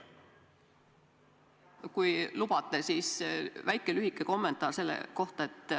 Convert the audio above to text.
Kui lubate, siis lühike kommentaar selle kohta, et ...